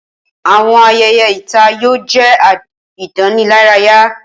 Awọn ayẹyẹ ita yoo jẹ idanilaraya.